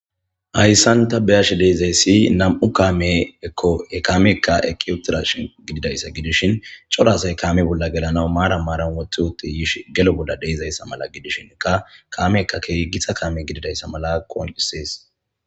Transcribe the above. Hayssan ta beyashe dizayssi nam'u kaamekk he kaameyikka eeqi uuttidashin gididayssa gidishin uubba asaykka kaame bolla gelanaw maran maran wooxxi wooxi yii maran gelo bolla dizayssa gidishinkka kaameyikka keehi giitta kaame gididayssa qonccises.